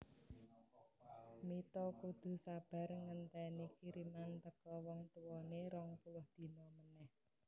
Mita kudu sabar ngenteni kiriman teko wong tuwone rong puluh dina maneh